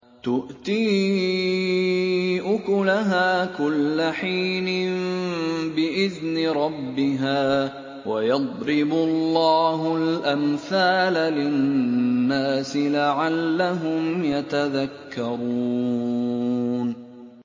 تُؤْتِي أُكُلَهَا كُلَّ حِينٍ بِإِذْنِ رَبِّهَا ۗ وَيَضْرِبُ اللَّهُ الْأَمْثَالَ لِلنَّاسِ لَعَلَّهُمْ يَتَذَكَّرُونَ